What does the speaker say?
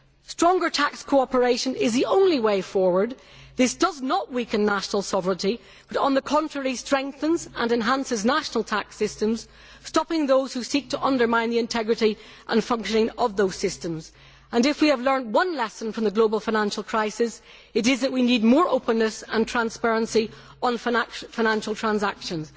Stronger tax cooperation is the only way forward. This does not weaken national sovereignty but, on the contrary, strengthens and enhances national tax systems, stopping those who seek to undermine the integrity and functioning of those systems. If we have learned one lesson from the global financial crisis, it is that we need more openness and transparency on financial transactions.